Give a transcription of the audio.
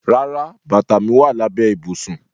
Rárá, bata mi wa labẹ ibusun.